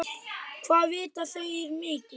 Hvað vita þeir mikið?